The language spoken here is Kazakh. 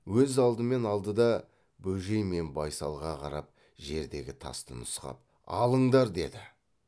өзі алдымен алды да бөжей мен байсалға қарап жердегі тасты нұсқап алыңдар деді